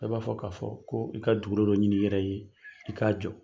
Bɛɛ b'a fɔ k'a fɔ ko i ka dugukolo dɔ ɲini i yɛrɛ ye i k'a jɔ.